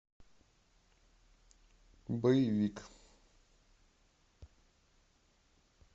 боевик